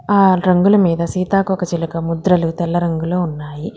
All రంగుల మీద సీతాకోకచిలక ముద్రలు తెల్ల రంగులో ఉన్నాయి.